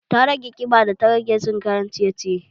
Ta rage ƙiba da ta rage cin kayan ciye ciye